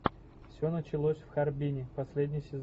все началось в харбине последний сезон